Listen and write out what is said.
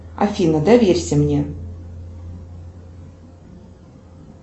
афина доверься мне